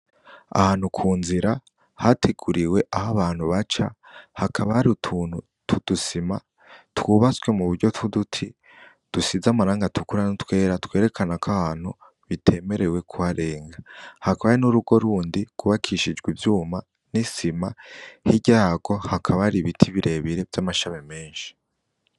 Ahantu kunzira hateguriwe aho abantu baca hakaba hari utuntu tw'udusima twubatswe muburyo tw'uduti dusize amarangi atukura n'utwera twerekanako ahohantu bitemerewe kuharenga, hakaba hari n'urugo rundi gw'ubakishijwe ivyuma n'isima hirya yagwo hakaba hari ibiti birebire vy'amashami menshi.